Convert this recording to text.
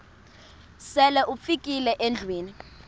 sele ufikile endlwini